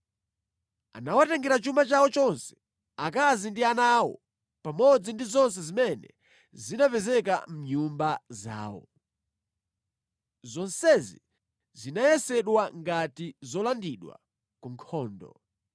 Anawatengera chuma chawo chonse, akazi ndi ana awo, pamodzi ndi zonse zimene zinapezeka mʼnyumba zawo. Zonsezi zinayesedwa ngati zolandidwa ku nkhondo.